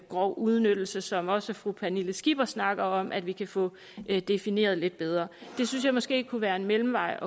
grov udnyttelse som også fru pernille skipper snakker om altså at vi kan få defineret det lidt bedre det synes jeg måske kunne være en mellemvej